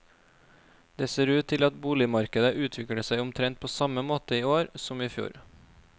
Det ser ut til at boligmarkedet utvikler seg omtrent på samme måte i år som i fjor.